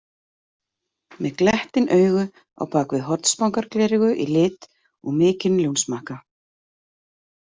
Með glettin augu á bak við hornspangargleraugu í lit og mikinn ljónsmakka.